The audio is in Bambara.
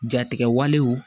Jatigɛwalew